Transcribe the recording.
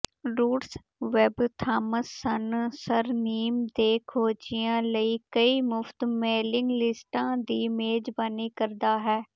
roots web Thomasson surname ਦੇ ਖੋਜੀਆਂ ਲਈ ਕਈ ਮੁਫਤ ਮੇਲਿੰਗ ਲਿਸਟਾਂ ਦੀ ਮੇਜ਼ਬਾਨੀ ਕਰਦਾ ਹੈ